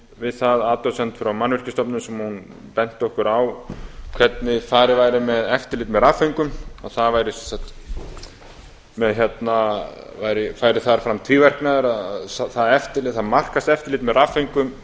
við það athugasemd frá mannvirkjastofnun þar sem hún benti okkur á hvernig farið væri með eftirlit með rafföngum að það færi þar fram tvíverknaður markaðseftirlit með rafföngum